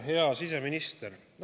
Hea siseminister!